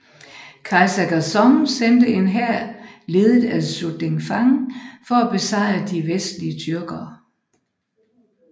Kejser Gaozong sendte en hær ledet af Su Dingfang for at besejre de vestlige tyrker